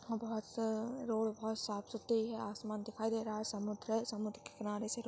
यहाँ बहुत अ रोड बोहोत साफ़-सुथरी हैं आसमान दिखाई दे रहा हैं समुद्र हैं समुद्र के किनारे--